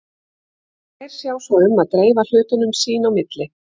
Þær sjá svo um að dreifa hlutunum sín á milli.